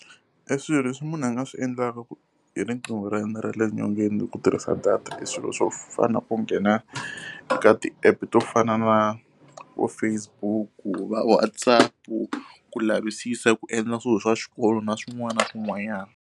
E swilo leswi munhu a nga swi endlaka hi riqingho ra yena ra le nyongeni hi ku tirhisa data i swilo swo fana na ku nghena eka ti-app to fana na vo Facebook-u, va WhatsApp-u, ku lavisisa ku endla swilo swa xikolo na swin'wana na swin'wanyana.